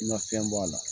Na fɛn b'a la